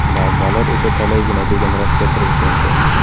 Muammolar esa talaygina”, degan Rossiya prezidenti.